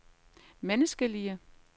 menneskelige